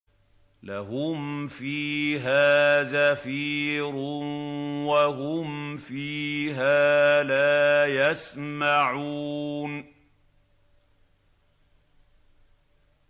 لَهُمْ فِيهَا زَفِيرٌ وَهُمْ فِيهَا لَا يَسْمَعُونَ